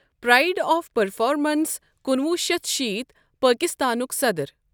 Pride of performance کُنوُہ شیتھ شیت پٲکِستانُک صدٕر۔